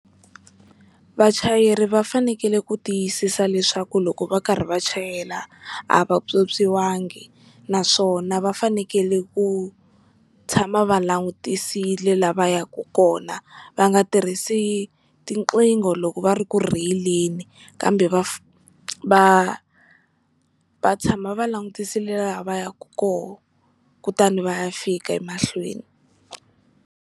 Vachayeri va fanekele ku tiyisisa leswaku loko va karhi va chayela a va pyopyiwangi, naswona va fanekele ku tshama va langutisile la va ya ku kona. Va nga tirhisi tiqingho loko va ri ku rheyileni, kambe va va va tshama va langutisile laha va ya ku kona kutani va ya fika emahlweni.